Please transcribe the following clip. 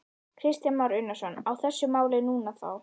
Kristján Már Unnarsson: Á þessu máli núna þá?